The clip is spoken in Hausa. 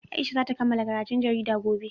Aisha za ta kammala karatun jarida gobe.